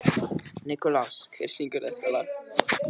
Nikulás, hver syngur þetta lag?